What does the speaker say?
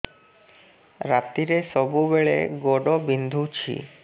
ରାତିରେ ସବୁବେଳେ ଗୋଡ ବିନ୍ଧୁଛି